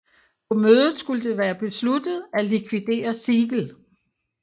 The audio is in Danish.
På mødet skulle være blevet besluttet at likvidere Siegel